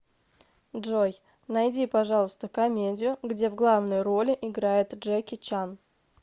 джой найди пожалуйста комедию где в главной роли играет джеки чан